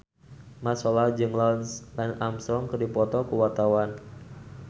Mat Solar jeung Lance Armstrong keur dipoto ku wartawan